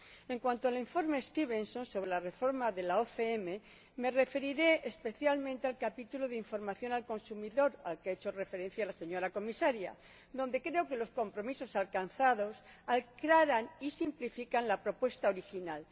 En cuanto al Informe Stevenson, sobre la reforma de la OCM, me referiré especialmente al capítulo de información al consumidor, al que ha hecho referencia la señora Comisaria, respecto del que creo que los compromisos alcanzados aclaran y simplifican la propuesta original.